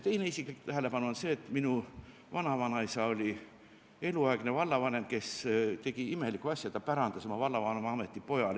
Teine isiklik tähelepanek on see, et minu vanavanaisa oli eluaegne vallavanem, kes tegi imelikku asja: ta pärandas oma vallavanemaameti pojale.